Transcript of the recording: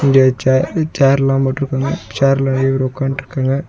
இங்க சேர் சேர்லா போட்டிருக்காங்க சேர்ல நெறைய பேர் ஒக்காண்ட்டுருக்காங்க.